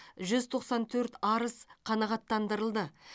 жүз тоқсан төрт арыз қанағаттандырылды